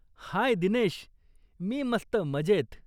हाय दिनेश, मी मस्त मजेत.